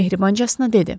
Mehribancasına dedi.